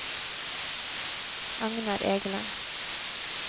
Agnar Egeland